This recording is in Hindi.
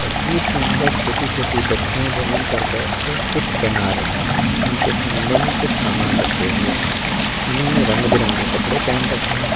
तस्वीर के अंदर छोटी - छोटी बच्चियाँ जमीन पर बैठकर कुछ बना रही हैं इनके सामने में कुछ सामान रखे हुए हैं इन्होंने रंग बिरंगे कपड़े पे रखे हैं।